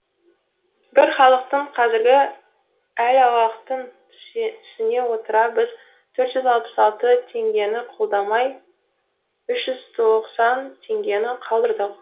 бірақ халықтың қазіргі әл ауқатын түсіне отыра біз төрт жүз алпыс алты теңгені қолдамай үш жүз тоқсан теңгені қалдырдық